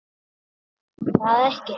Ætli það ekki?